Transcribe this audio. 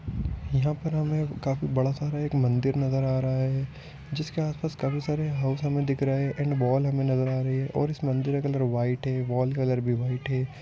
यहाँ पर हमें काफी बड़ा सारा एक मंदिर नजर आ रहा है जिसके आस-पास काफी सारे हाउस हमें दिख रहे हैं एंड वॉल हमें नजर आ रही है और इस मंदिर का कलर व्हाइट है वॉल कलर भी वाइट है।